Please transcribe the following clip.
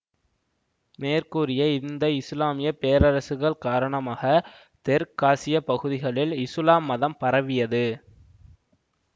மேற்கூரிய இந்த இசுலாமிய பேரரசுகள் காரணமாக தெற்க்காசிய பகுதிகளில் இசுலாம் மதம் பரவியது